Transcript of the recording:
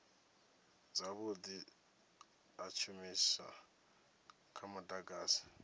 zwavhudi ha tshishumiswa tsha mudagasi